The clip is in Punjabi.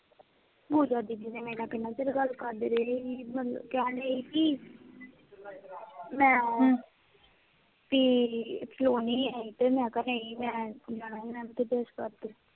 ਪੂਜਾ ਦੀਦੀ ਤੇ ਮੇਰੇ ਨਾਲ ਕਿੰਨਾ ਚਿਰ ਗੱਲ ਕਰਦੇ ਰਹੇ ਸੀ, ਮੈਨੂੰ ਕਹਿਣ ਡੇ ਸੀ ਕਿ ਮੈਂ ਬੀ ਸਕੂਲ ਨੀ ਆਈ ਤੇ ਮੈਂ ਕਿਹਾ ਨਹੀਂ, ਮੈਂ ਜਾਣਾ ਸੀ ਕੀਤੇ ਇਸ ਕਰਕੇ